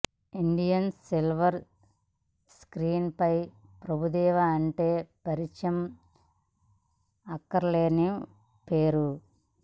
Indian silver screen పై ప్రభుదేవా అంటే పరిచయం అక్కరలేని పేరు